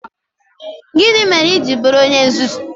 Gịnị mere i ji bụrụ onye nzuzu?